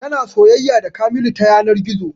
Tana soyayya da kamilu ta yanar gizo